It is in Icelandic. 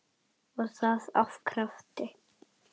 Og það af krafti.